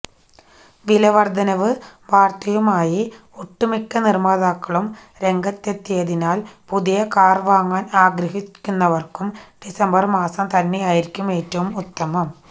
വില വർധനവ് വാർത്തയുമായി ഒട്ടുമിക്ക നിർമാതാക്കളും രംഗത്തെത്തിയതിനാൽ പുതിയ കാർ വാങ്ങാൻ ആഗ്രഹിക്കുന്നവർക്കും ഡിസംബർ മാസം തന്നെയായിരിക്കും ഏറ്റവും ഉത്തമം